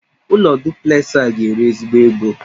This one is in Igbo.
Ụlọ duplexị a ga-eri ezigbo ego